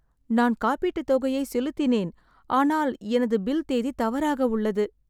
நான் காப்பீட்டுத் தொகையை செலுத்தினேன் ஆனால் எனது பில் தேதி தவறாக உள்ளது